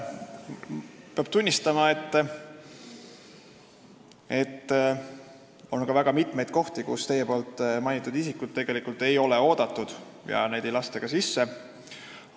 Peab tunnistama, et ongi väga mitmeid kohti, kus teie mainitud isikud tegelikult ei ole oodatud ja kuhu neid ei lasta ka sisse.